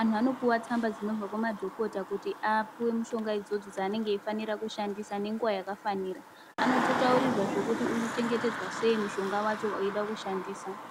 Antu anopuva tsamba dzinobva kumadhokota kuti apuve mushonga idzodzo dzanenge aifanira kushandisa nenguva yakafanira. Anototautrirwa zvekuti unochengetedzwa sei mushonga vacho eida kushandisa.